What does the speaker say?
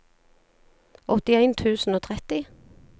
åttien tusen og tretti